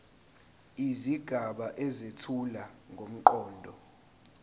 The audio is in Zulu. izigaba ezethula ngomqondo